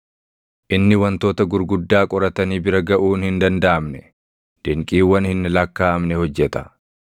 Inni wantoota gurguddaa qoratanii bira gaʼuun hin dandaʼamne, dinqiiwwan hin lakkaaʼamne hojjeta.